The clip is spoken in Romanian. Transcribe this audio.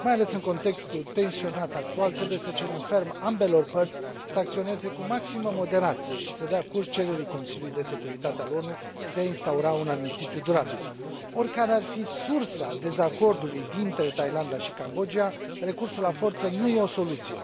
Mai ales în contextul tensionat actual, trebuie să cerem ferm ambelor părți să acționeze cu maximă moderație și să dea curs cererii Consiliului de Securitate al ONU de a instaura un armistițiu durabil. Oricare ar fi sursa dezacordului dintre Thailanda și Cambodgia, recursul la forță nu e o soluție.